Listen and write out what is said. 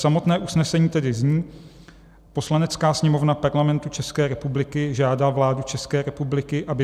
Samotné usnesení tedy zní: "Poslanecká sněmovna Parlamentu České republiky žádá vládu České republiky, aby